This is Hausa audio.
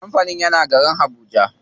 Kampanin yana garin habuja.